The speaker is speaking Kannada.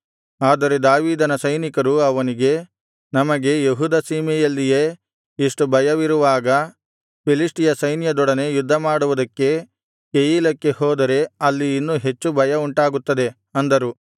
ಆದರೆ ದಾವೀದನ ಸೈನಿಕರು ಅವನಿಗೆ ನಮಗೆ ಯೆಹೂದ ಸೀಮೆಯಲ್ಲಿಯೇ ಇಷ್ಟು ಭಯವಿರುವಾಗ ಫಿಲಿಷ್ಟಿಯ ಸೈನ್ಯದೊಡನೆ ಯುದ್ಧಮಾಡುವುದಕ್ಕೆ ಕೆಯೀಲಕ್ಕೆ ಹೋದರೆ ಅಲ್ಲಿ ಇನ್ನೂ ಹೆಚ್ಚು ಭಯ ಉಂಟಾಗುತ್ತದೆ ಅಂದರು